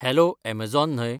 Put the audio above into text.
hello Amazon न्हय